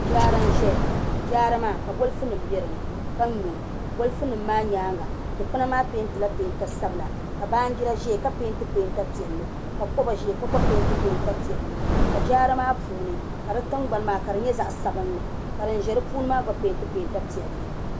Jaara n ʒɛya ka bolfu nim bɛ dinni ka nyo bolfu nim maa nyaanga dikpuna maa peentila peenta sabila ka baanjira ʒɛya ka peenti peenta piɛlli ka koba ʒɛya ka gba peenti peenta piɛlli ka jaara maa puuni ka di tingbani maa nyɛ zaɣ sabinli ka din ʒɛ di puuni maa gba peenti peenta piɛlli